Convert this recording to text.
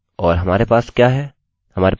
और हमारे पास क्या है